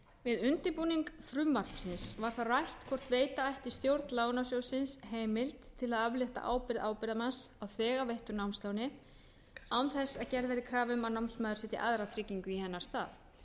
við undirbúning frumvarpsins var það skoðað hvort veita ætti stjórn lánasjóðsins heimild til að aflétta ábyrgð ábyrgðarmanns á þegar veittu námsláni án þess að gerð verði krafa um að námsmaður setji aðra tryggingu í hennar stað